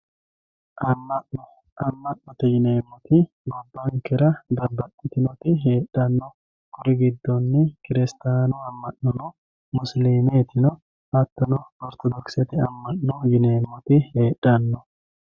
Amma'no amma'note yineemmoti yannankera babbaxiteewoti heedhanno hakkuri giddonni kiristiyanuyti no musilimeti no hattono ortodokiseti yineemmoti heedhanno